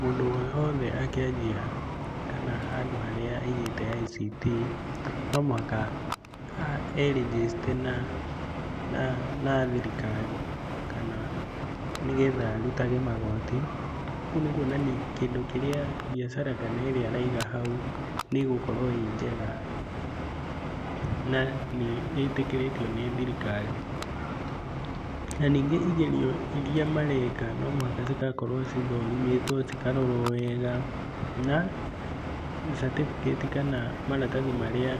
Mũndũ o wothe angĩanjia, kana handũ harĩa aigĩte ICT, no mũhaka erĩnjĩcite na thirikari kana nĩgetha arutage magooti. Kũu nĩ kuonani kĩndũ kĩrĩa mbiacara, kana ĩrĩa araiga hau nĩ ĩgũkorwo ĩ njega na nĩ ĩtĩkĩrĩtio nĩ thirikari. Na ningĩ igerio iria mareka no mũhaka cigakorwo cithũrimĩtwo cikarorwo wega na certificate kana maratathi marĩa